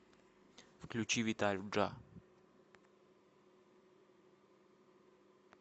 включи виталю джа